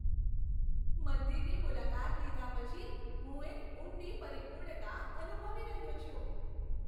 મંદિરની મુલાકાત લીધા પછી હું એક ઊંડી પરિપૂર્ણતા અનુભવી રહ્યો છું.